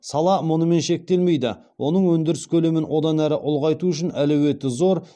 сала мұнымен шектелмейді оның өндіріс көлемін одан әрі ұлғайту үшін әлеуеті зор